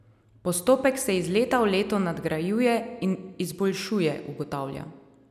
Postopek se iz leta v leto nadgrajuje in izboljšuje, ugotavlja.